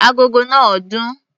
Agogo náà dún.